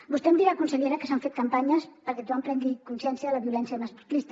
vostè em dirà consellera que s’han fet campanyes perquè tothom prengui consciència de la violència masclista